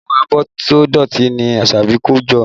Àwọn abọ́ tó dọ̀tí ni Asabi kó jọ